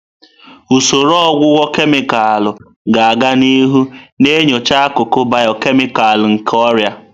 Usoro ọgwụgwọ kemịkalụ ga-aga n'ihu na-enyocha akụkụ bịọkemịkal nke ọrịa.